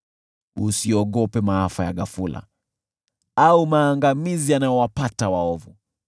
Usiogope maafa ya ghafula au maangamizi yanayowapata waovu,